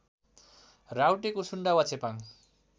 राउटे कुसुन्डा वा चेपाङ